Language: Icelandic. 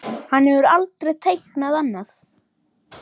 Hann hefur aldrei teiknað annað.